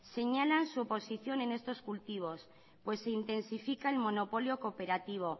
señalan su oposición en estos cultivos pues intensifica el monopolio cooperativo